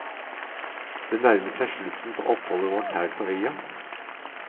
Det nærmer seg slutten på oppholdet vårt her på øya.